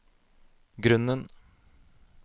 grunnen